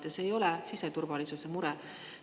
Ja see ei ole siseturvalisuse mure.